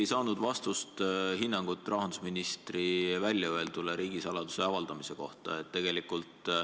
Ma siiski ei saanud hinnangut rahandusministri sõnade ja riigisaladuse avaldamise kohta.